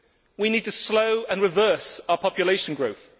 We need to slow and reverse our population growth.